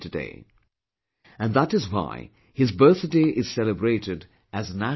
And that is why his birthday is celebrated as National Unity Day